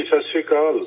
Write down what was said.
ست شری اکال